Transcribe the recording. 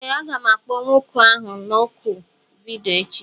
Ee, aga m akpọ nwoke ahụ na oku vidiyo echi